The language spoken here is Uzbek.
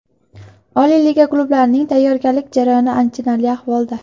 Oliy liga klublarining tayyorgarlik jarayoni achinarli ahvolda.